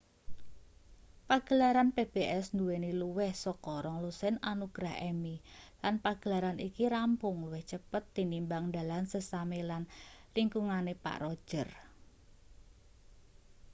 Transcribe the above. pagelaran pbs nduweni luwih saka rong-lusin anugrah emmy lan pagelaran iki rampung luwih cepet tinimbang dalan sesame lan lingkungane pak roger